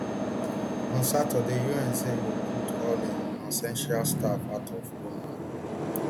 on saturday un say e go pull all im nonessential staff out of goma